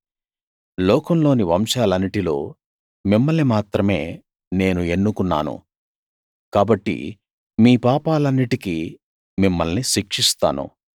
లోకంలోని వంశాలన్నిటిలో మిమ్మల్ని మాత్రమే నేను ఎన్నుకున్నాను కాబట్టి మీ పాపాలన్నిటికీ మిమ్మల్ని శిక్షిస్తాను